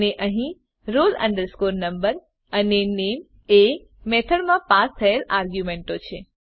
અને અહીં roll number અને નામે એ મેથડમાં પાસ થયેલ આર્ગ્યુંમેંટો છે